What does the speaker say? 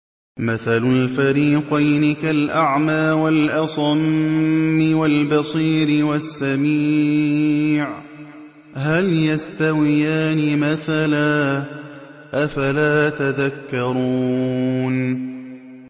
۞ مَثَلُ الْفَرِيقَيْنِ كَالْأَعْمَىٰ وَالْأَصَمِّ وَالْبَصِيرِ وَالسَّمِيعِ ۚ هَلْ يَسْتَوِيَانِ مَثَلًا ۚ أَفَلَا تَذَكَّرُونَ